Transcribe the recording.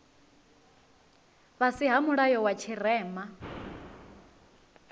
fhasi ha mulayo wa tshirema